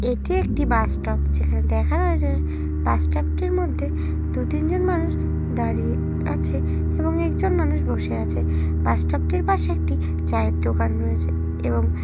এটি একটি bus stop. যেখানে দেখা যায় যে বাস স্টপ টির মধ্যে দুতিন জন মানুষ দাঁড়িয়ে আছে এবং একজন মানুষ বসে আছে। বাস স্টপ টির পাশে একটি চায়ের দোকান রয়েছে এবং --